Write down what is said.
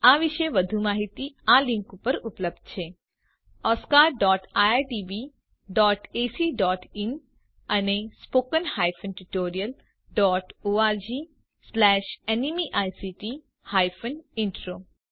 આ વિશે વધુ માહીતી આ લીંક ઉપર ઉપલબ્ધ છે oscariitbacઇન અને spoken tutorialorgnmeict ઇન્ટ્રો